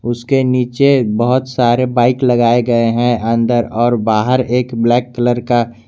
उसके नीचे बहुत सारे बाइक लगाए गए हैं अंदर और बाहर एक ब्लैक कलर का।